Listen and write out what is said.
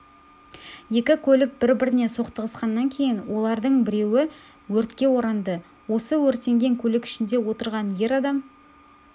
екі көлік бір-біріне соқтығысқаннан кейін олардың біреуі өртке оранды осы өртенген көлік ішінде отырған ер адам